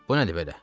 Bu nədir belə?